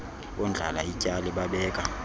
bondlala ityali babeka